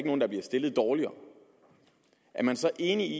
nogen der bliver stillet dårligere er man så enig i